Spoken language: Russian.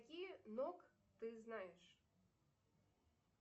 какие ног ты знаешь